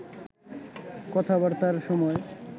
কথাবার্তার সময়